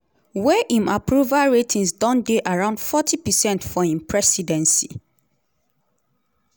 wey im approval ratings don dey around forty percent for im presidency.